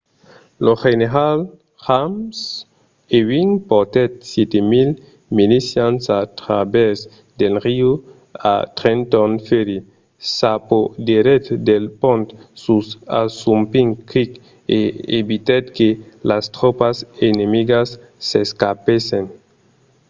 lo general james ewing portèt 700 milicians a travèrs del riu a trenton ferry s'apoderèt del pont sus assunpink creek e evitèt que las tropas enemigas s’escapèssen